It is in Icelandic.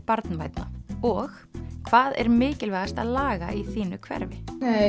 barnvænna og hvað er mikilvægast að laga í þínu hverfi